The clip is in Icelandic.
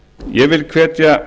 ég vil hvetja